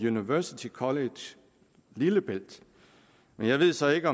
university college lillebælt men jeg ved så ikke